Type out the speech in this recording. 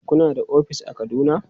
Kuna da ofis a Kaduna?